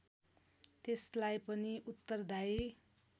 त्यसलाई पनि उत्तरदायी